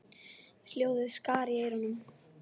Hljóðið skar í eyrun.